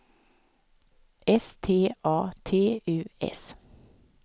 S T A T U S